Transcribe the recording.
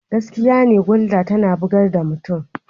Gaskiya ne Gulder tana bugar da mutum.